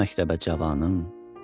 Get məktəbə cavanım.